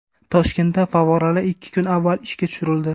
Toshkentda favvoralar ikki kun avval ishga tushirildi.